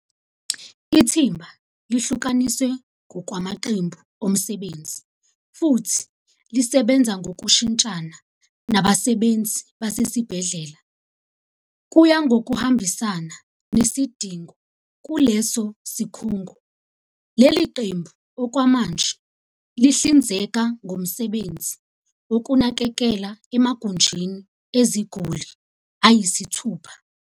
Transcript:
Ithimba lihlukaniswe ngokwamaqembu omsebenzi futhi lisebenza ngokushintshana nabasebenzi basesibhedlela, kuya ngokuhambisana nesidingo kuleso sikhungo. Leli qembu okwamanje lihlinzeka ngomsebenzi wokunakekela emagunjini eziguli ayisithupha.